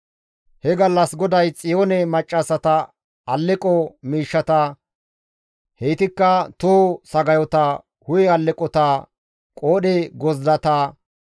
He gallas GODAY Xiyoone maccassata alleqo miishshata, heytikka toho sagayota, hu7e alleqota, qoodhe gozdata,